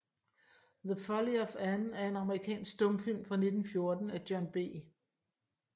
The Folly of Anne er en amerikansk stumfilm fra 1914 af John B